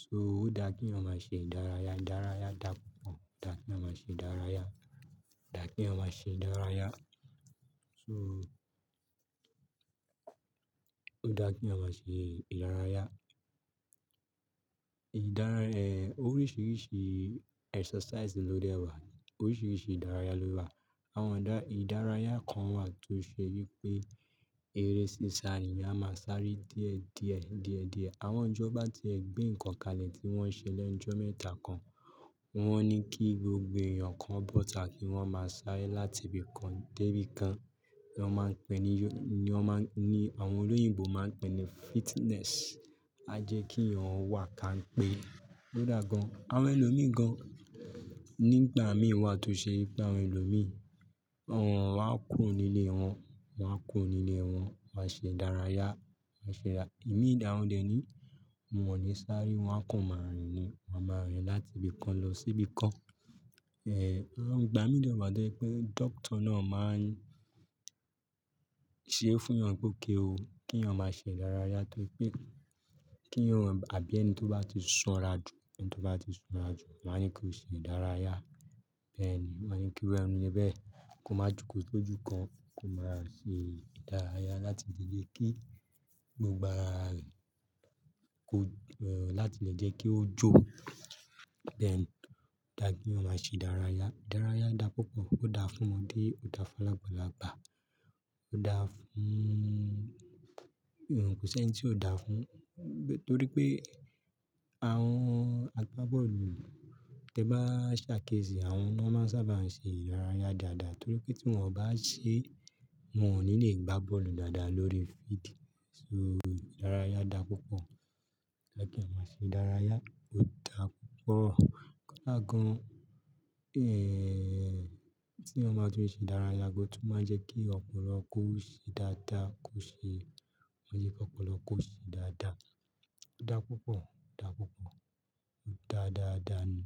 So ó da kí èèyàn máa ṣe ìdárayá. Ìdárayá da púpọ̀. Da kí èèyàn máa ṣe ìdárayá. Da kí èèyàn máa ṣe ìdárayá. So ó da kí èèyàn máa ṣe ìdárayá. Ìdárayá, eh, oríṣiríṣi exercise ló dé wà. Oríṣiríṣi ìdárayá ló wà. Àwọn ìdá-- ìdárayá kan wà tó ṣe wípé eré sísá èèyàn máa sáré díẹ̀ díẹ̀, díẹ̀ díẹ̀. Àwọn ọjọ́ bá ti ẹ̀ gbé nǹkan kan ni tí wọ́n ṣe lẹ́ẹ̀ọ́jọ́ mẹ́ta kan, wọ́n ní kí gbogbo èèyàn kan bọ́ta kí wọ́n máa sáré láti ibì kan dé ibì kan. Ìyẹn wọn máa ń pè ní yo-- ni wọn máa ń-- ni àwọn olóyìnbo máa ń pè ní fitness. A jẹ́ kí èèyàn wà ká ń pé. Ó da gan. Àwọn ẹlòmíràn nígbà mí wà tó ṣe wípé àwọn ẹlòmíràn, àwọn wá kùro nílé wọn, wá kù nílé wọn, wá ṣe ìdárayá, wá ṣe dá-- èmi ìdáhùn dè ni. Mo wọ̀nì sáré wá kàn máa rìn ni. Wa máa rìn láti ibi kan lọ sí ibi kan. Eh, àwọn ìgbà mí dè naa mâà jẹ́ pé doctor náà máa ń ṣe é fún èèyàn pé ó kéwo kí èèyàn máa ṣe ìdárayá torí pé kí èèyàn àbí ẹni tí ó bá ti san ra ju, ẹni tí ó bá ti san ra ju, wọ́n máa ń kí ó ṣe ìdárayá. Bẹ́ẹ̀ ni. Mo máa ń ní wẹ́rẹ́ nírú ẹ bẹ́ẹ̀, kó má ju kó tó ju kan, kó máa ṣe ìdárayá láti lè jẹ́ kí gbogbo ara rẹ̀ kó, eh, láti lè jẹ́ kí ó jó. Bẹ́ẹ̀ ni. Ó da kí èèyàn máa ṣe ìdárayá. Ìdárayá da púpọ̀. Ó da fún ọmọdé, ó da fún lágbàlagbà. Ó da fún-- òun kò sí ẹni tí ó da fún. Torí pé àwọn agbá bọ́ọ̀lù, tí ẹ bá ṣà kéṣìí, àwọn náà máa ń sábà ń ṣe ìdárayá dáadáa torí pé tí wọ́n ò bá ṣe, wọn ò ní lè gbá bọ́ọ̀lù dáadáa lórí field. So ìdárayá da púpọ̀. Ó da kí èèyàn máa ṣe ìdárayá. Ó da púpọ̀. Ó dáa gan. Eh, tí èèyàn bá túun ṣe ìdárayá gan o tún máa n jẹ́ kí ọpọlọ kó ṣe dáadáa, kó ṣe-- máa jẹ́ kí ọpọlọ kó ṣe dáadáa. Ó da púpọ̀, ó da púpọ̀. Ó da dáadáa ni.